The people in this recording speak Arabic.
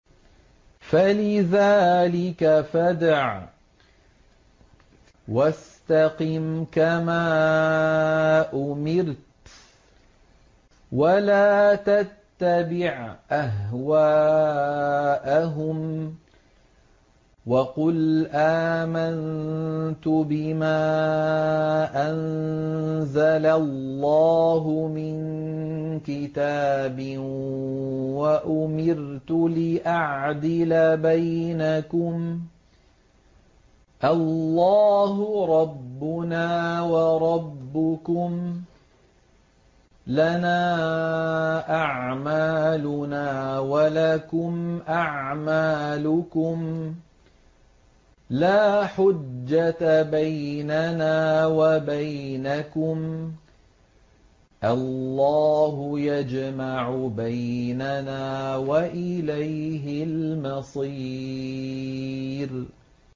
فَلِذَٰلِكَ فَادْعُ ۖ وَاسْتَقِمْ كَمَا أُمِرْتَ ۖ وَلَا تَتَّبِعْ أَهْوَاءَهُمْ ۖ وَقُلْ آمَنتُ بِمَا أَنزَلَ اللَّهُ مِن كِتَابٍ ۖ وَأُمِرْتُ لِأَعْدِلَ بَيْنَكُمُ ۖ اللَّهُ رَبُّنَا وَرَبُّكُمْ ۖ لَنَا أَعْمَالُنَا وَلَكُمْ أَعْمَالُكُمْ ۖ لَا حُجَّةَ بَيْنَنَا وَبَيْنَكُمُ ۖ اللَّهُ يَجْمَعُ بَيْنَنَا ۖ وَإِلَيْهِ الْمَصِيرُ